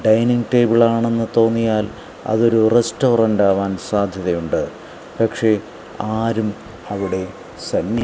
dining table ആണെന്ന് തോന്നിയാൽ അതൊരു റസ്റ്റോറന്റ് ആവാൻ സാധ്യതയുണ്ട് പക്ഷേ ആരും അവിടെ സന്നി--